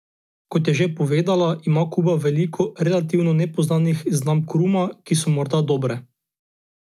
Kot je še povedala, ima Kuba veliko relativno nepoznanih znamk ruma, ki so morda dobre.